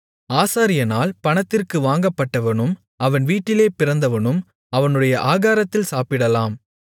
ஆசாரியனால் பணத்திற்கு வாங்கப்பட்டவனும் அவன் வீட்டிலே பிறந்தவனும் அவனுடைய ஆகாரத்தில் சாப்பிடலாம்